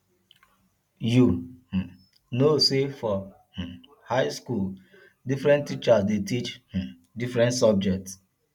you um know sey for um um high skool differen teachers dey teach um different subject